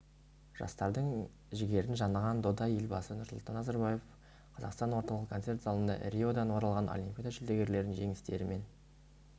жастардың жігерін жаныған дода елбасы нұрсұлтан назарбаев қазақстан орталық концерт залында риодан оралған олимпиада жүлдегерлерін жеңістерімен